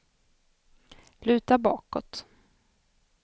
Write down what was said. luta bakåt